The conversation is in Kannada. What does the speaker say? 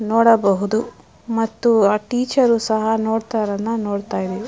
ನೋಡಬಹುದು ಮತ್ತು ಆ ಟೀಚರು ಸಹ ನೋಡ್ತಾ ಇರೋದ್ನ ನೋಡತ್ತಾ ಇದ್ದಿವಿ.